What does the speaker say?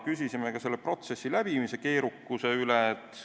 Küsisime ka protsessi keerukuse kohta.